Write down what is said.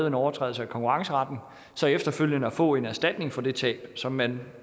en overtrædelse af konkurrenceretten efterfølgende at få en erstatning for det tab som man